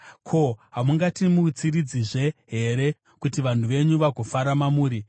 Ko, hamungatimutsiridzizve here, kuti vanhu venyu vagofara mamuri?